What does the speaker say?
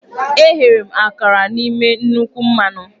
Eghere m akara n'ime nnukwu mmanụ.